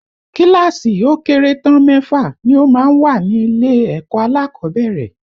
Kíláàsì ó kéré tán mẹ́fà ni ó máa ń wà nílé ẹ̀kọ́ alákọ̀ọ́bẹ̀rẹ̀